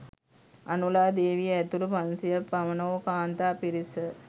අනුලා දේවිය ඇතුළු පන්සියයක් පමණ වූ කාන්තා පිරිස